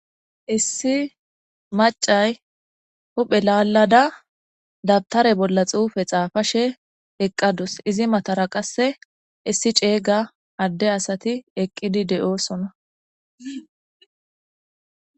Issi maccay huphe lallada dabtare bolla xuufe xaafashe eqqadus izi matara qasse issi ceega adde asati eqqidi de'osonna.